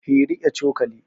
He riƙe cokali